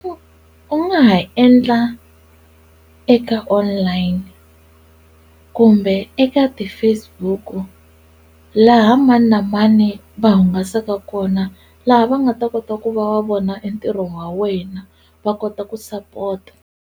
U nga ha endla eka online kumbe eka ti-Facebook-u laha mani na mani va hungasaka kona laha va nga ta kota ku va va vona e ntirho wa wena va kota ku support-a.